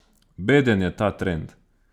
Beden je ta trend.